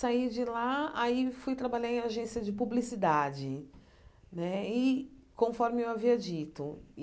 Saí de lá, aí fui trabalhar em agência de publicidade né, e conforme eu havia dito.